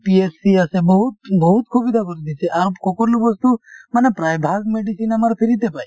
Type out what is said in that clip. PSCInitial আছে বহুত বহুত সুবিধা কৰি দিছে কোনো বস্তু মানে প্ৰায়ভাগ medicine আমাৰ free তে পায়